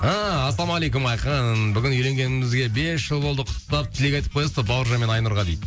ыыы ассалаумағалейкум айқын бүгін үйленгенімізге бес жыл болды құттықтап тілек айтып қоясыз ба бауыржан мен айнұрға дейді